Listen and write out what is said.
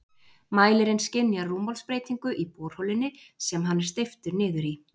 Mælirinn skynjar rúmmálsbreytingu í borholunni sem hann er steyptur niður í.